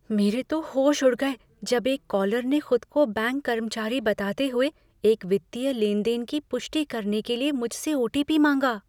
मेरे तो होश उड़ गए जब एक कॉलर ने खुद को बैंक कर्मचारी बताते हुए एक वित्तीय लेने देन की पुष्टि करने के लिए मुझसे ओ.टी.पी. माँगा।